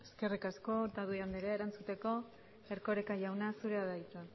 eskerrik asko otadui andrea erantzuteko erkoreka jauna zurea da hitza